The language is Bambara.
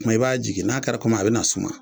Kuma i b'a jigin n'a kɛra komi a bi na suma